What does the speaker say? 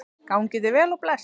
Gangi þér vel og bless.